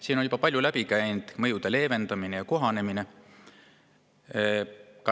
Siin on juba palju läbi käinud mõjude leevendamine ja kohanemine.